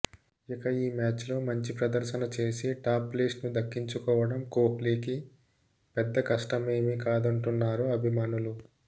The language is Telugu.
ఇక ఈ మ్యాచ్లో మంచి ప్రదర్శన చేసి టాప్ ప్లేస్ను దక్కించుకోవడం కోహ్లీకి పెద్ద కష్టమేమీ కాదంటున్నారు అభిమానులు